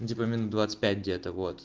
ну типа минут двадцать пять где-то вот